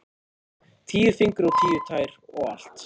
Tíu fingur og tíu tær og allt.